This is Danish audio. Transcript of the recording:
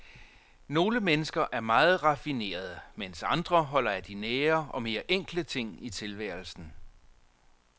Nogle mennesker er meget raffinerede, mens andre holder af de nære og mere enkle ting i tilværelsen.